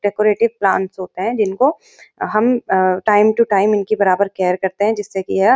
decorative plants होते है जिनको अ हम अ-अ टाइम तू टाइम इनकी बराबर केयर करते हैं जिससे कि यह --